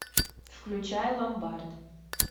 включай ломбард